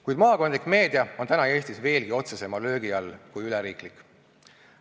Kuid maakondlik meedia on Eestis veelgi otsesema löögi all kui üleriiklik.